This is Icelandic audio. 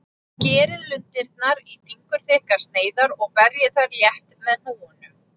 Skerið lundirnar í fingurþykkar sneiðar og berjið þær létt með hnúunum.